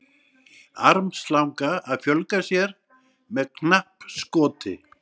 armslanga að fjölga sér með knappskoti